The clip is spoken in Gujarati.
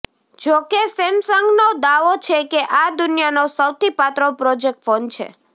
જો કે સેમસંગનો દાવો છે કે આ દુનિયાનો સૌથી પાતળો પ્રોજેક્ટર ફોન છે